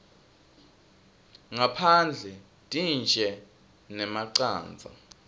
ngaphandle tintje nemacandza